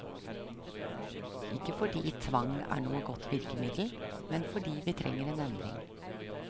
Ikke fordi tvang er noe godt virkemiddel, men fordi vi trenger en endring.